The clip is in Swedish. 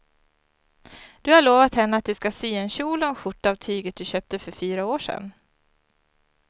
Du har lovat henne att du ska sy en kjol och skjorta av tyget du köpte för fyra år sedan.